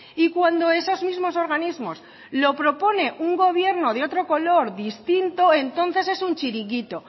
y cuando esos mismos organismos lo propone un gobierno de otro color distinto entonces es un chiringuito